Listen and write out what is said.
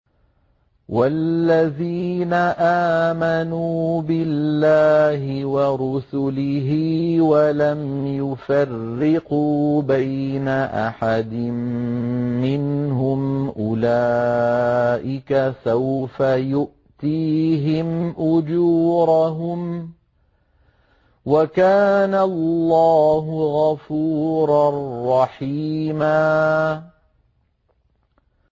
وَالَّذِينَ آمَنُوا بِاللَّهِ وَرُسُلِهِ وَلَمْ يُفَرِّقُوا بَيْنَ أَحَدٍ مِّنْهُمْ أُولَٰئِكَ سَوْفَ يُؤْتِيهِمْ أُجُورَهُمْ ۗ وَكَانَ اللَّهُ غَفُورًا رَّحِيمًا